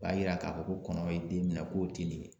O b'a yira ka fɔ ko kɔnɔ ye den minɛ k'o ti nin ye.